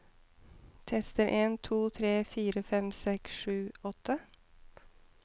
Tester en to tre fire fem seks sju åtte